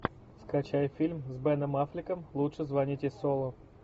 скачай фильм с беном аффлеком лучше звоните солу